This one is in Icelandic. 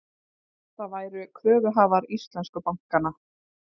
Það væru kröfuhafar íslensku bankanna